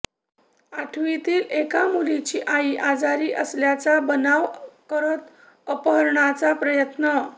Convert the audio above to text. आठवीतील एका मुलीची आई आजारी असल्याचा बनाव करत अपहरणाचा प्रयत्न